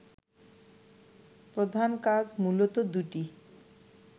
প্রধান কাজ মুলত দুটি